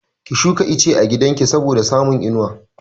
Ki shuka ice a gidan ki saboda samun inuwa!